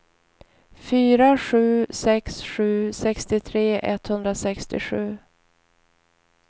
fyra sju sex sju sextiotre etthundrasextiosju